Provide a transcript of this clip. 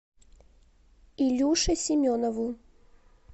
илюше семенову